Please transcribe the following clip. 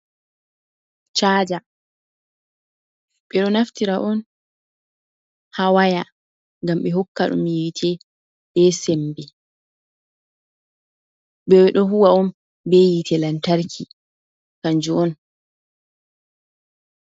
Caja ɓe ɗo naftira on haa waya ngam ɓe hokka ɗum yiite be sembe. Ɓe ɗo huuwa on be yiite lantarki kanjum on.